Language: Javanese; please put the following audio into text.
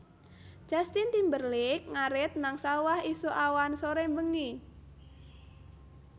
Justin Timberlake ngarit nang sawah isuk awan sore bengi